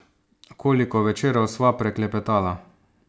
Koliko večerov sva preklepetala!